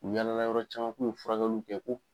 N' yaala la yɔrɔ caman u kun bɛ furakɛliw kɛ ko.